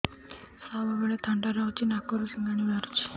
ସବୁବେଳେ ଥଣ୍ଡା ରହୁଛି ନାକରୁ ସିଙ୍ଗାଣି ବାହାରୁଚି